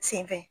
Sen fɛ